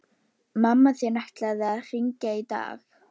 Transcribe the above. Mamma þín ætlaði að hringja í dag